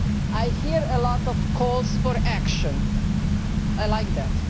I hear a lot of calls for action. I like that.